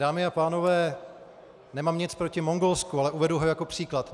Dámy a pánové, nemám nic proti Mongolsku, ale uvedu ho jako příklad.